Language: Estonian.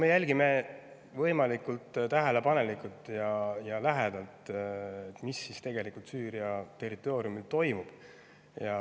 Me jälgime võimalikult tähelepanelikult ja lähedalt, mis tegelikult Süüria territooriumil toimub.